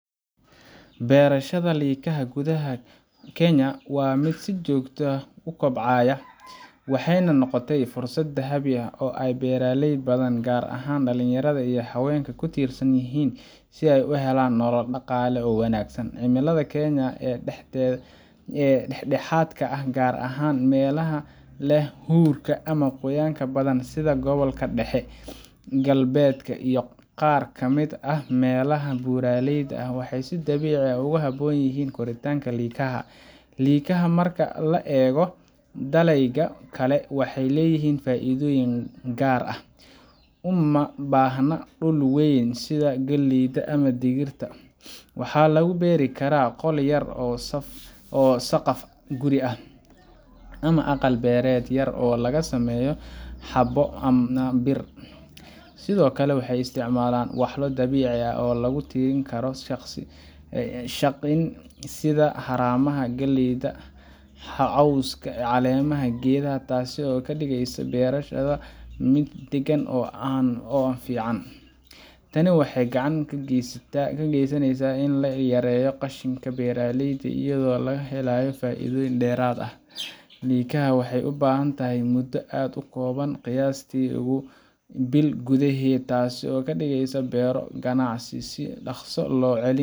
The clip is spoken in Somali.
Beerashada likaha gudaha Kenya waa mid si joogto ah u kobcaysa, waxayna noqotay fursad dahabi ah oo ay beeraley badan, gaar ahaan dhalinyarada iyo haweenka, ku tiirsan yihiin si ay u helaan nolol dhaqaale oo wanaagsan. Cimilada Kenya ee dhexdhexaadka ah, gaar ahaan meelaha leh huurka ama qoyaanka badan sida gobolka dhexe, galbeedka iyo qaar ka mid ah meelaha buuraleyda ah, waxay si dabiici ah ugu habboon yihiin koritaanka likaha. Likaha, marka loo eego dalagyada kale, waxay leeyihiin faa’iidooyin gaar ah. Uma baahna dhul weyn sida galleyda ama digirta. Waxaa lagu beeri karaa qol yar, saqaf guri ah, ama aqal-beereed yar oo laga sameeyo xaabo ama bir. Sidoo kale, waxay isticmaalaan walxo dabiici ah oo lagu tirin karo qashin, sida haramaha galleyda, cawska ama caleemaha geedaha, taas oo ka dhigaysa beerashada mid deegaan ahaan u fiican. Tani waxay gacan ka geysaneysaa in la yareeyo qashinka beeraleyda, iyadoo laga helayo faa’iido dheeraad ah. Likaha waxay ku baxaan muddo aad u kooban, qiyaastii bil gudaheed, taasoo ka dhigaysa beero-ganacsi si dhakhso